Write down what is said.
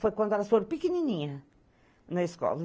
Foi quando elas foram pequenininhas na escola.